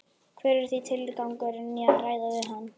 Hver er því tilgangurinn í að ræða við hann?